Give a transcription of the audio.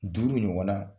Duuru ɲɔgɔnna